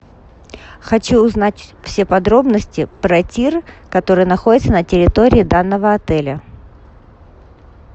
хочу узнать все подробности про тир который находится на территории данного отеля